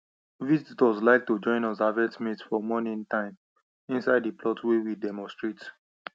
visitors like to join us harvest maize for morning time inside the plot wey we demonstrate